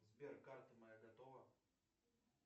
сбер карта моя готова